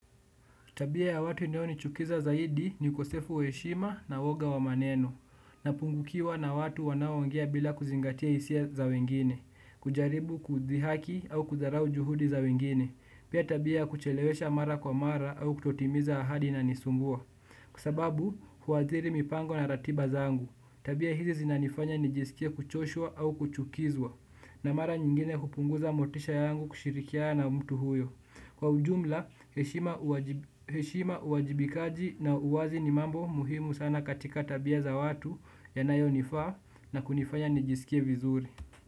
Tabia ya watu inayonichukiza zaidi ni ukosefu wa heshima na woga wa maneno. Napungukiwa na watu wanaoongea bila kuzingatia hisia za wengine, kujaribu kudhihaki au kudharau juhudi za wengine. Pia tabia ya kuchelewesha mara kwa mara au kutotimiza ahadi na inanisumbua. Kwasababu, huadhiri mipango na ratiba zangu. Tabia hizi zinanifanya nijisikie kuchoshwa au kuchukizwa. Na mara nyingine kupunguza motisha yangu kushirikia na mtu huyo. Kwa ujumla, heshima uwajibikaji na uwazi ni mambo muhimu sana katika tabia za watu yanayo nifaa na kunifanya nijisikie vizuri.